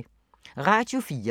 Radio 4